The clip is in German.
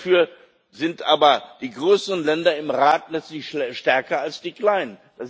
Dafür sind aber die größeren Länder im Rat letztlich stärker als die kleinen.